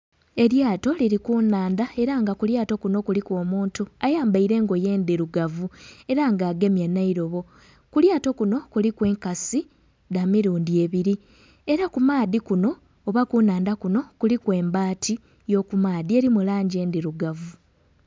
Elyato liri ku nnhandha era nga ku lyato kuno kuliku omuntu ayambaire engoye endhirugavu era nga agemye n'eirobo. Ku lyato kuno kuliku enkasi dha mirundhi ebiri era ku maadhi kuno oba ku nnhandha kuno kuliku embaati y'okumaadhi eri mu langi endhirugavu.